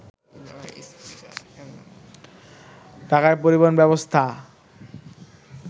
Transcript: ঢাকার পরিবহন ব্যবস্থা